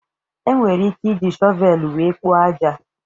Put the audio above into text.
Enwere ike iji shọvelu wéé kpoo ájá.